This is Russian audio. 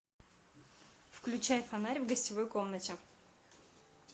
включай фонарь в гостевой комнате